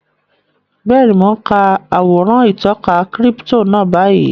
Bẹ́ẹ̀ni, mo n ka àwòrán ìtọka kírípítò náà báyìí